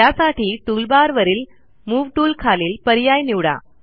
त्यासाठी टूलबारवरील मूव toolखालील पर्याय निवडा